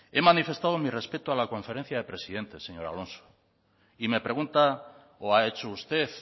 he manifestado mi respeto a la conferencia de presidentes señor alonso y me pregunta o ha hecho usted